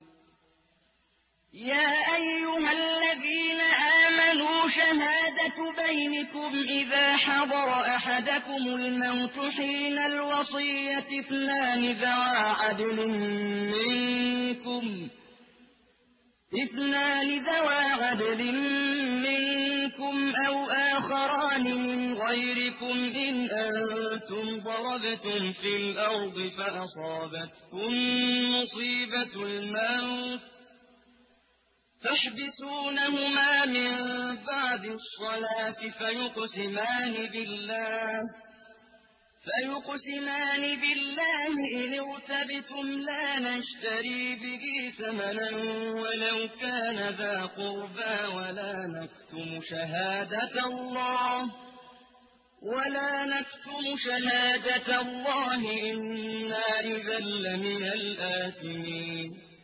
يَا أَيُّهَا الَّذِينَ آمَنُوا شَهَادَةُ بَيْنِكُمْ إِذَا حَضَرَ أَحَدَكُمُ الْمَوْتُ حِينَ الْوَصِيَّةِ اثْنَانِ ذَوَا عَدْلٍ مِّنكُمْ أَوْ آخَرَانِ مِنْ غَيْرِكُمْ إِنْ أَنتُمْ ضَرَبْتُمْ فِي الْأَرْضِ فَأَصَابَتْكُم مُّصِيبَةُ الْمَوْتِ ۚ تَحْبِسُونَهُمَا مِن بَعْدِ الصَّلَاةِ فَيُقْسِمَانِ بِاللَّهِ إِنِ ارْتَبْتُمْ لَا نَشْتَرِي بِهِ ثَمَنًا وَلَوْ كَانَ ذَا قُرْبَىٰ ۙ وَلَا نَكْتُمُ شَهَادَةَ اللَّهِ إِنَّا إِذًا لَّمِنَ الْآثِمِينَ